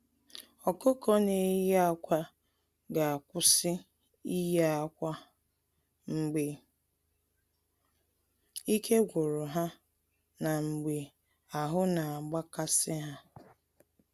Ọkụkọ na-eye akwa ga-akwụsị ịye akwa mgbe ike gwuru ha na mgbe ahụ na-agba kasị ha.